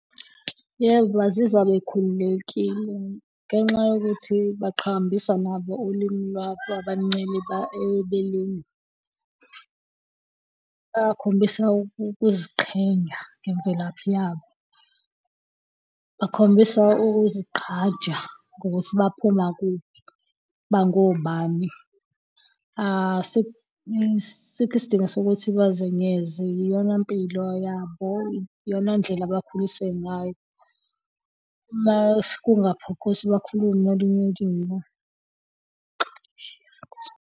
Yebo, bazizwa bekhululekile ngenxa yokuthi baqhakambisa nabo ulimi lwabo abaluncela ebeleni. Bakhombisa ukuziqhenya ngemvelaphi yabo, bakhombisa ukuzigqaja ngokuthi baphuma kuphi, bangobani. Asikho isidingo sokuthi bazenyeze iyona impilo yabo, iyona ndlela abakhuliswe ngayo. Uma kungaphoqi ukuthi bakhulume olunye ulimi .